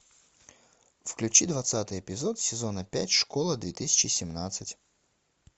включи двадцатый эпизод сезона пять школа две тысячи семнадцать